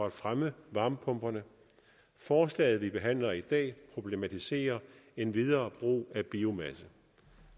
at fremme varmepumperne forslaget vi behandler i dag problematiserer endvidere brug af biomasse